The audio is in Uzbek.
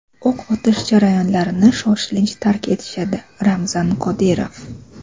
o‘q otish joylarini shoshilinch tark etishadi – Ramzan Qodirov.